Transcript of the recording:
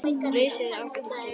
Risið er ágætt til að byrja með.